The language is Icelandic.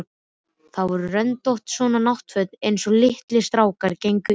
Þau voru röndótt, svona náttföt einsog litlir strákar gengu í.